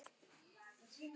Ég elska töltið.